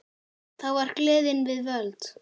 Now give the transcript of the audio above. Þá var gleðin við völd.